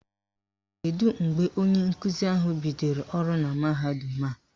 Kedu mgbe onye nkuzi ahụ bidoro ọrụ na mahadum a?